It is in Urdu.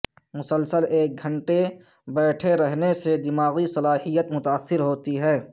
مسلسل ایک گھنٹے بیٹھے رہنے سے دماغی صلاحیت متاثر ہوتی ہے